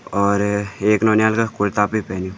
और एक नौनियाल का कुरता भि पैन्युं।